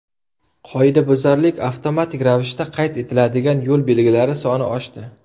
Qoidabuzarlik avtomatik ravishda qayd etiladigan yo‘l belgilari soni oshdi.